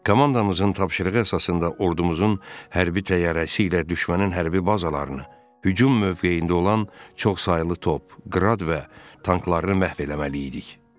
Komandamızın tapşırığı əsasında ordumuzun hərbi təyyarəsi ilə düşmənin hərbi bazalarını, hücum mövqeyində olan çoxsaylı top, qrad və tanklarını məhv etməli idik.